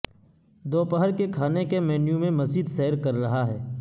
دوپہر کے کھانے کے مینو میں مزید سیر کر رہا ہے